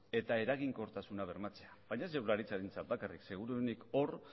eta eraginkortasuna bermatzea baina ez jaurlaritzarentzat bakarrik seguruenik hor